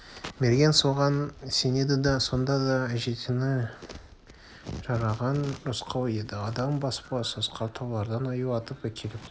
мерген соған сенеді сонда да әжетіне жараған рысқұл еді адам баспас асқар таулардан аю атып әкеліп